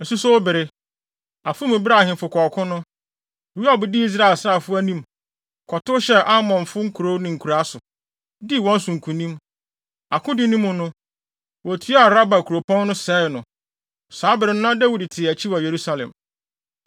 Asusow bere, afe mu bere a ahemfo kɔ ɔko no, Yoab dii Israel asraafo anim, kɔtow hyɛɛ Amonfo nkurow ne nkuraa so, dii wɔn so nkonim. Akodi no mu no, wotuaa Raba kuropɔn no, sɛee no. Saa bere no na Dawid te akyi wɔ Yerusalem.